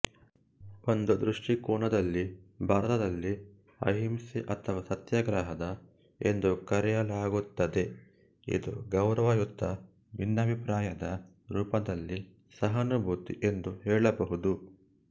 ಒಂದು ದೃಷ್ಟಿಕೋನದಲ್ಲಿ ಭಾರತದಲ್ಲಿ ಅಹಿಂಸೆ ಅಥವಾ ಸತ್ಯಾಗ್ರಹದ ಎಂದು ಕರೆಯಲಾಗುತ್ತದೆ ಇದು ಗೌರವಯುತ ಭಿನ್ನಾಭಿಪ್ರಾಯದ ರೂಪದಲ್ಲಿ ಸಹಾನುಭೂತಿ ಎಂದು ಹೇಳಬಹುದು